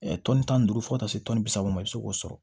tɔnni tan ni duuru fo ka taa se tɔni bi saba ma i bɛ se k'o sɔrɔ